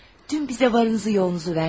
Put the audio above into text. Dün bizə varınızı yoğunuzu verdin.